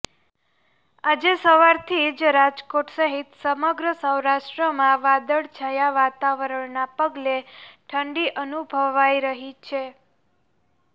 આજે સવારથી જ રાજકોટ સહિત સમગ્ર સૌરાષ્ટ્રમાં વાદળછાંયા વાતાવરણના પગલે ઠંડી અનુભવાઈ રહી છે